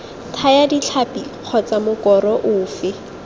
thaya ditlhapi kgotsa mokoro ofe